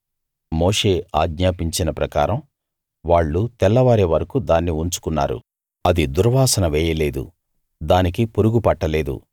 మోషే ఆజ్ఞాపించిన ప్రకారం వాళ్ళు తెల్లవారే వరకూ దాన్ని ఉంచుకున్నారు అది దుర్వాసన వేయలేదు దానికి పురుగు పట్టలేదు